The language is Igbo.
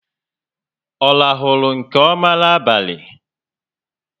Ọ rahulu nke ọma n'abalị?